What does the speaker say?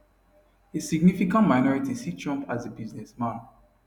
a significant minority see trump as a businessman